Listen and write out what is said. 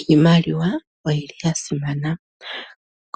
Iimaliwa oyili ya simana